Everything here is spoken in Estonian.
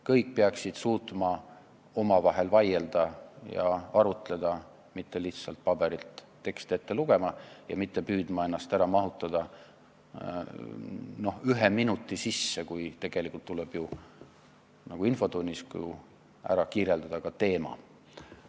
Kõik peaksid suutma omavahel vaielda ja arutleda, ei ole vaja lihtsalt paberilt teksti ette lugeda ja püüda küsimust ära mahutada ühe minuti sisse, kui tegelikult tuleb ju infotunnis ära kirjeldada ka teema.